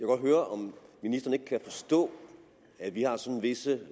godt høre om ministeren ikke kan forstå at vi har sådan visse